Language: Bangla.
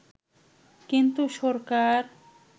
কিন্তু সরকার